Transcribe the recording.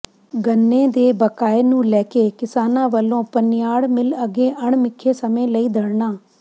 ਗੰਨੇ ਦੇ ਬਕਾਏ ਨੂੰ ਲੈ ਕੇ ਕਿਸਾਨਾਂ ਵੱਲੋਂ ਪਨਿਆੜ ਮਿੱਲ ਅੱਗੇ ਅਣਮਿਥੇ ਸਮੇਂ ਲਈ ਧਰਨਾ